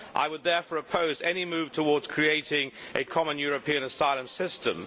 I would therefore oppose any move towards creating a common European asylum system.